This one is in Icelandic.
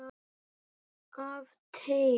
Af teig